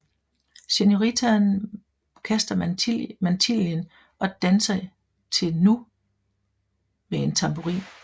Senoritaen kaster mantillen og danser til nu med en tamburin